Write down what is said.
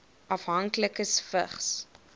afhanklikes vigs